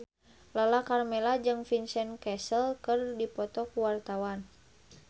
Lala Karmela jeung Vincent Cassel keur dipoto ku wartawan